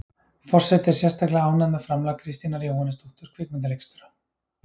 Forseti er sérstaklega ánægð með framlag Kristínar Jóhannesdóttur kvikmyndaleikstjóra.